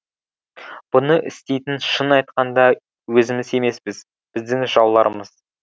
бұны істейтін шын айтқанда өзіміз емеспіз біздің жауларымыз